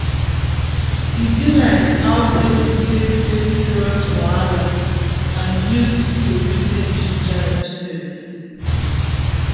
e like how person take face serious wahala and e use the story take ginger himself.